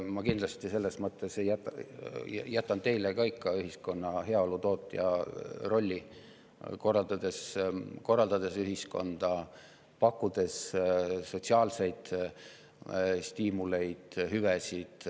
Ma selles mõttes jätan teile ka ikka ühiskonna heaolu tootja rolli: korraldada ühiskonda, pakkuda sotsiaalseid stiimuleid, hüvesid.